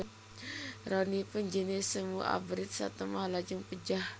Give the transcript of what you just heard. Ronipun jené semu abrit satemah lajeng pejah